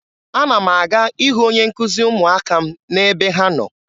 Ana m aga ịhụ onye nkuzi ụmụaka m n'ebe ha na-anọ.